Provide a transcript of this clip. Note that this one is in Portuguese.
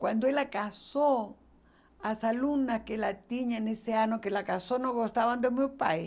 Quando ela casou, as aluna que ela tinha nesse ano que ela casou não gostavam do meu pai.